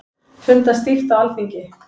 Fundað stíft á Alþingi